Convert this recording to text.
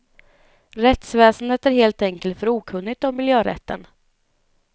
Rättsväsendet är helt enkelt för okunnigt om miljörätten.